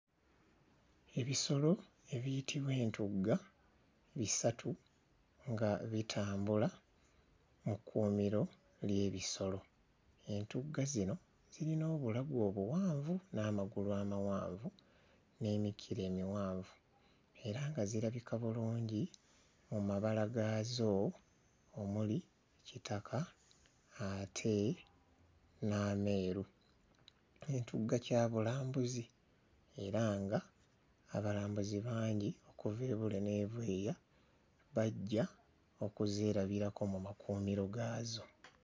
Ebisolo ebiyitibwa entugga bisatu nga bitambula mu kkuumiro ly'ebisolo. Entugga zino zirina obulago obuwanvu n'amagulu amawanvu n'emikira emiwanvu era nga zirabika bulungi mu mabala gaazo omuli kitaka ate n'ameeru. Entugga kya bulambuzi era nga abalambuzi bangi okuva e Bule n'e Bweya bajja okuzeerabirako mu makuumiro gaazo.